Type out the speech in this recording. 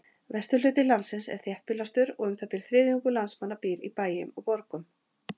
Vesturhluti landsins er þéttbýlastur og um það bil þriðjungur landsmanna býr í bæjum og borgum.